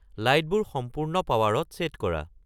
লাইটবোৰ সম্পূৰ্ণ পাৱাৰত ছে’ট কৰা